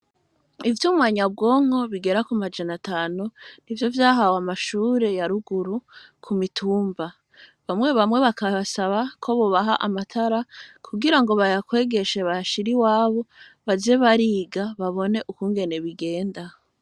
Ivyuma nyabwonko bigera ku majana atanu, nivyo vyahawe amashure ya ruguru ku mitumba , bamwe bamwe bakabasaba ko bobaha amatara kugira ngo bayakwegeshe bayashire iwabo baze bariga babone ukungene bigenda.